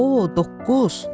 O, doqquz.